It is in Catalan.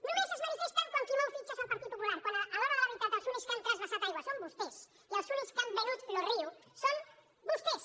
només es manifesten quan qui mou fitxa és el partit popular quan a l’hora de la veritat els únics que han transvasat aigua són vostès i els únics que han venut lo riu són vostès